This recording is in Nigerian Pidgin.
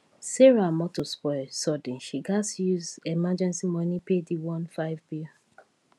sarah motor spoil sudden she gatz use emergency money pay the one thousand five hundred bill